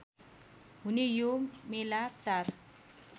हुने यो मेला चार